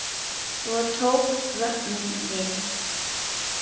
Svo tók vörnin við.